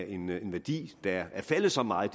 en værdi der er faldet så meget